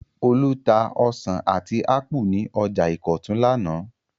Olú tá ọsàn àti ápù ní ọjà Ìkọ̀tún lánàá.